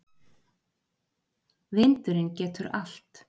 Vindurinn getur allt.